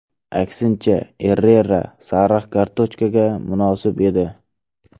Aksincha, Errera sariq kartochkaga munosib edi.